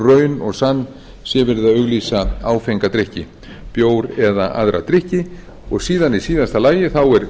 raun og sann sé verið að auglýsa áfenga drykki bjór eða aðra drykki og síðan í síðasta lagi er